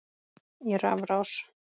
í rafrás